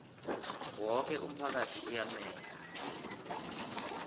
woke umphakathi uyamenywa